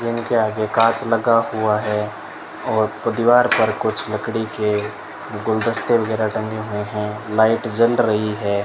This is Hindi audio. जिनके आगे कांच लगा हुआ है और दीवार पर कुछ लकड़ी के गुलदस्ते वगैरह टंगे हुए हैं लाइट जल रही है।